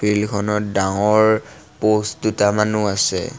Field খনত ডাঙৰ post দুটামানো আছে।